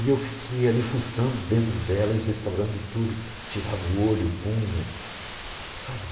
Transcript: E eu fiquei ali fuçando dentro dela e restaurando tudo, tirava o olho, punha, sabe?